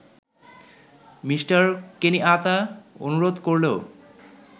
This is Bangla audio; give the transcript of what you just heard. মি: কেনিয়াত্তা অনুরোধ করলেও